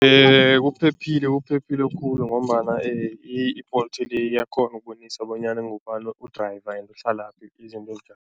Kuphephile kuphephile khulu ngombana i-Bolt le iyakhgona ukubonisa bonyana ngubani u-driver and uhlalaphi, izinto